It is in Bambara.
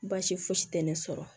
Baasi fosi tɛ ne sɔrɔ